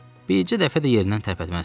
Bircə dəfə də yerindən tərpətməzdi.